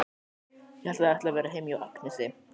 Ég hélt að þið ætluðuð að vera heima hjá Agnesi.